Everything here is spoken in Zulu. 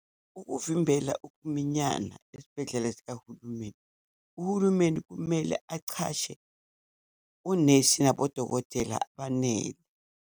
Ukuvimbela ukuminyana ezibhedlela zikahulumeni, uhulumeni kumele achashe onesi nabodokotela abanele.